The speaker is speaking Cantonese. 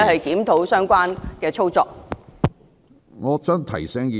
檢討相關的操作事宜。